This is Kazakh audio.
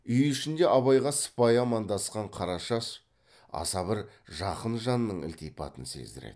үй ішінде абайға сыпайы амандасқан қарашаш аса бір жақын жанның ілтипатын сездіреді